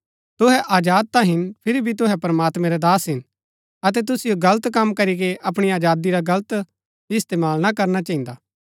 तुहै आजाद ता हिन फिरी भी तुहै प्रमात्मैं रै दास हिन अतै तुसिओ गलत कम करीके अपणी आजादी रा गलत इस्तेमाल ना करना चहिन्दा